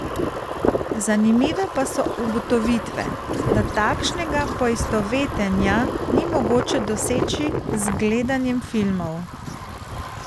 Zanimive pa so ugotovitve, da takšnega poistovetenja ni mogoče doseči z gledanjem filmov.